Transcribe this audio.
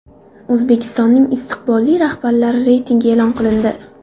O‘zbekistonning istiqbolli rahbarlari reytingi e’lon qilindi.